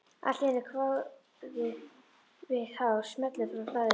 Allt í einu kvað við hár smellur frá hlaðinu.